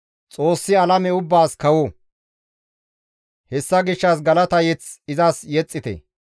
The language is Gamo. Xoossi alame ubbaas kawo; hessa gishshas galata mazamure izas yexxite.